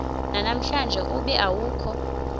namhlanje ube awukho